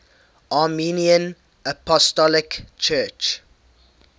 armenian apostolic church